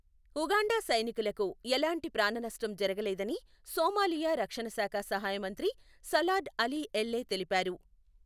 Uganda సైనికులకు ఎలాంటి ప్రాణనష్టం జరగలేదని సోమాలియా రక్షణశాఖ సహాయమంత్రి సలార్డ్ అలీ ఎల్లే తెలిపారు.